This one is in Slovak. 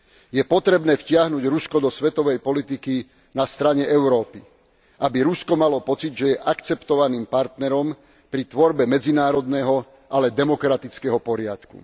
Je potrebné vtiahnuť Rusko do svetovej politiky na strane Európy, aby Rusko malo pocit, že je akceptovaným partnerom pri tvorbe medzinárodného, ale demokratického poriadku.